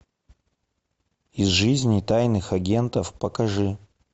из жизни тайных агентов покажи